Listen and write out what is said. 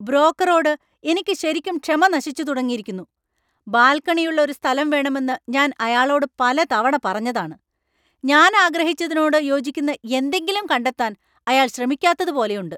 ബ്രോക്കറോട് എനിക്ക് ശരിക്കും ക്ഷമ നശിച്ചു തുടങ്ങിയിരുന്നു. ബാൽക്കണിയുള്ള ഒരു സ്ഥലം വേണമെന്ന് ഞാൻ അയാളോട് പലതവണ പറഞ്ഞതാണ് . ഞാൻ ആഗ്രഹിച്ചതിനോട് യോജിക്കുന്ന എന്തെങ്കിലും കണ്ടെത്താൻ അയാൾ ശ്രമിക്കാത്തതുപോലെയുണ്ട് .